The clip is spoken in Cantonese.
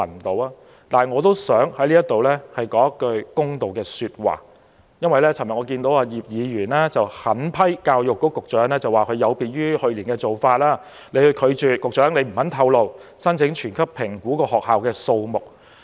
但是，我想在此說句公道話，因為我看到葉建源議員昨天狠批教育局局長有別於去年的做法，拒絕或不願意透露申請全級評估的學校數目。